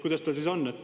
Kuidas tal siis on?